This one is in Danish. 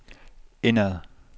indad